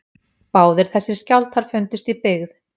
Báðir þessir skjálftar fundust í byggð